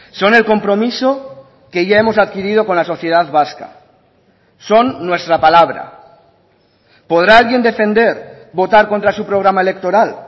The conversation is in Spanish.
son el compromiso que ya hemos adquirido con la sociedad vasca son nuestra palabra podrá alguien defender votar contra su programa electoral